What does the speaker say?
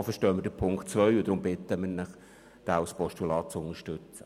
So verstehen wir den Punkt 2 und bitten deswegen, diesen als Postulat zu unterstützen.